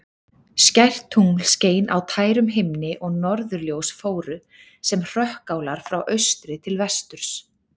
Skært tungl skein á tærum himni og norðurljós fóru sem hrökkálar frá austri til vesturs.